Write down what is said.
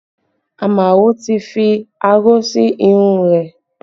Amao tí fi aró sí irun rẹ̀